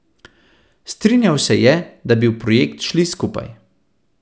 Strinjal se je, da bi v projekt šli skupaj.